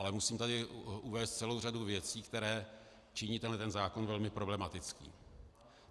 Ale musím tady uvést celou řadu věcí, které činí tenhle zákon velmi problematickým.